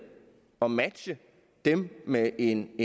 og matche dem med en